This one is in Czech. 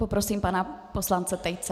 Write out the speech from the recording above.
Poprosím pana poslance Tejce.